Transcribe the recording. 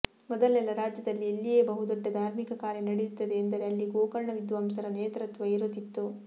ಮೊದಲೆಲ್ಲಾ ರಾಜ್ಯದಲ್ಲಿ ಎಲ್ಲಿಯೇ ಬಹುದೊಡ್ಡ ಧಾರ್ಮಿಕ ಕಾರ್ಯ ನಡೆಯುತ್ತದೆ ಎಂದರೆ ಅಲ್ಲಿ ಗೋಕರ್ಣ ವಿದ್ವಾಂಸರ ನೇತೃತ್ವ ಇರುತ್ತಿತ್ತು